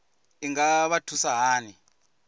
i nga vha thusa hani